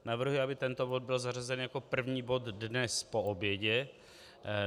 Navrhuji, aby tento bod byl zařazen jako první bod dnes po obědě.